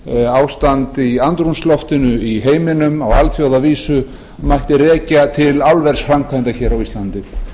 ástand í andrúmsloftinu í heiminum á alþjóðavísu mætti rekja til álversframkvæmda hér á íslandi